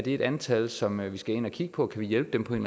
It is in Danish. et antal som vi skal ind at kigge på kan vi hjælpe dem på en